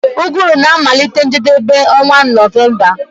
Uguru na-amalite njedebe onwa November